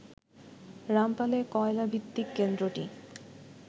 রামপালে কয়লা ভিত্তিক কেন্দ্রটি